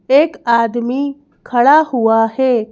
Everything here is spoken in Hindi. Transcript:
एक आदमी खड़ा हुआ है।